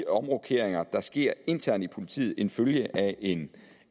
omrokeringer der sker internt i politiet en følge af en